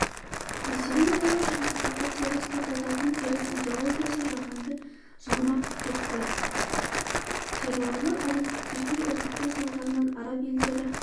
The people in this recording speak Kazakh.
мәселен таяу шығыстағы теріс пиғылдылардың теріс идеологиясы жаһанды жалмап кетті террорлық әрекеттерге үгіттеу салдарынан араб елдері